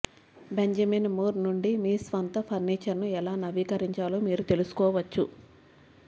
Benjamin Moore నుండి మీ స్వంత ఫర్నిచర్ను ఎలా నవీకరించాలో మీరు తెలుసుకోవచ్చు